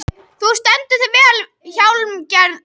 Þú stendur þig vel, Hjálmgerður!